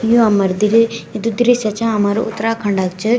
यु हमार दिरे ये जू दृश्य च हमारु उत्तराखण्ड क च।